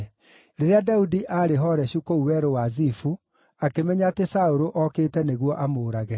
Rĩrĩa Daudi aarĩ Horeshu kũu Werũ wa Zifu, akĩmenya atĩ Saũlũ okĩte nĩguo amũũrage.